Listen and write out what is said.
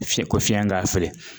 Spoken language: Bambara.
Fiɲɛ ko fiɲɛ k'a fili